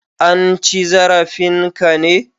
An ci zarafin ka ne?